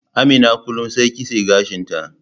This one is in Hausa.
Amina kullum sai kitse gashin ta.